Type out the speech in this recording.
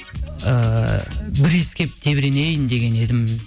ыыы бір иіскеп тебіренейін деген едім